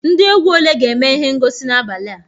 Ndị egwu ole ga-eme ihe ngosi n'abalị a?